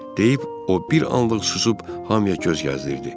Deyib, o bir anlıq susub hamıya göz gəzdirirdi.